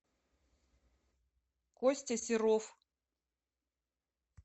костя серов